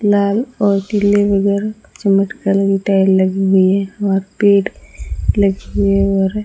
लाल और पीले टाइल लगी हुई है वहां पेड़ लगी हुई है और --